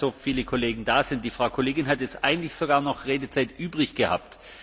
Wenn schon einmal so viele Kollegen da sind die Frau Kollegin hat jetzt eigentlich sogar noch Redezeit übrig gehabt.